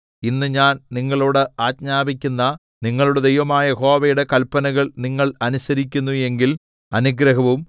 ഇന്ന് ഞാൻ നിങ്ങളോട് ആജ്ഞാപിക്കുന്ന നിങ്ങളുടെ ദൈവമായ യഹോവയുടെ കല്പനകൾ നിങ്ങൾ അനുസരിക്കുന്നു എങ്കിൽ അനുഗ്രഹവും